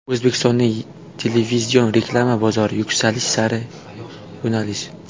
O‘zbekistonning televizion reklama bozori: Yuksalish sari yo‘nalish.